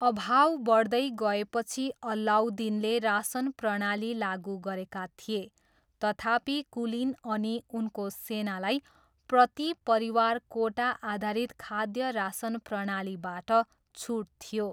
अभाव बढ्दै गएपछि अलाउद्दिनले रासन प्रणाली लागु गरेका थिए, तथापि, कुलीन अनि उनको सेनालाई प्रति परिवार कोटा आधारित खाद्य रासन प्रणालीबाट छुट थियो।